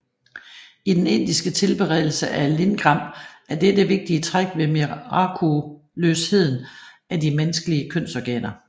I den indiske tilbedelse af lingam er dette vigtige træk ved mirakuløsheden af de menneskelige kønsorganer